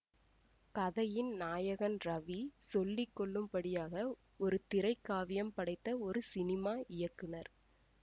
கதையின் நாயகன் ரவி சொல்லி கொள்ளும்படியாக ஒரு திரை காவியம் படைத்த ஒரு சினிமா இயக்குனர்